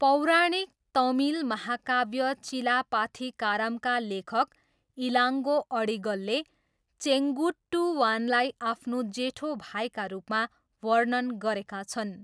पौराणिक तमिल महाकाव्य चिलापाथीकारमका लेखक इलाङ्गो अडिगलले चेङ्गुट्टुवानलाई आफ्नो जेठो भाइका रूपमा वर्णन गरेका छन्।